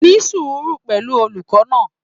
Ní sùùúrù pẹ̀lú olùkọ́ náà.